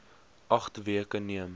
agt weke neem